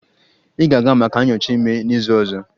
Ị ga-aga maka nyocha ime n'izu ọzọ